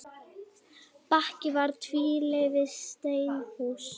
Bakki var tvílyft steinhús.